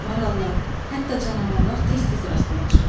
Marallar, hətta canavarlar tez-tez rastına çıxırdı.